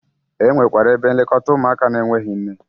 E nwekwara ebe nlekọta ụmụaka n'enweghi nne.